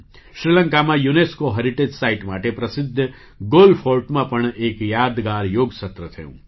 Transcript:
શ્રીલંકામાં UNESCO heritage site માટે પ્રસિદ્ધ ગૉલ ફૉર્ટમાં પણ એક યાદગાર યોગ સત્ર થયું